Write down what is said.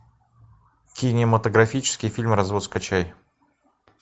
кинематографический фильм развод скачай